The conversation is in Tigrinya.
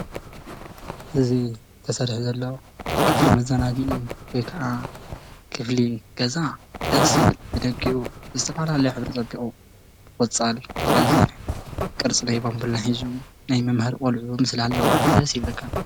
እዚ ተሰሪሑ ዘሎ ክፍሊ መዛናግዒ ወይ ካዓ ክፍሊ ገዛ ደስ ይብል ብደጊኡ ብዝተፈተፋላለየ ሕብሪ ፀቢቑ ዘለዎ ሕብርታት ብቆጻል ፣ ብቀይሕ ቅርፅ ናይ ባምቡላ ሒዙ ናይ ምምማሃር ቆሉዑ ምስሊ ኣለዎ ደሰ ይብለካ፡፡